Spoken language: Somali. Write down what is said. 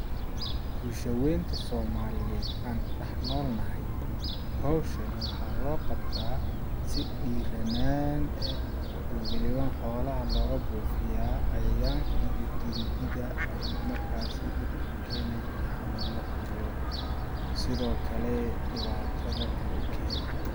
Bulsha weynta somaliyeed aan ku dhax nool nahay ,hawshani waxaa loo qabtaa si dhiranaan eh oo waliban xoolaha looga buufiyaa cayaayanka iyo gindida markaasi dhibka u keenayo iyo xanuunada iyo sidoo kale dhibaatada kale u keenayo.